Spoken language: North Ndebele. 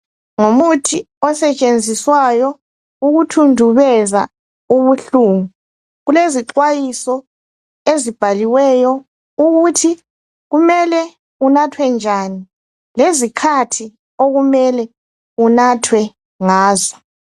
Ngumuthi osetshenziswayo ukuthundubeza ubuhlungu. Kulezixwayiso ezibhaliweyo ukuthi kumele unathwe njani lezikhathi okumele unathwe ngazo.